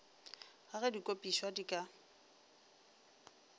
ga ge dikopišwa di ka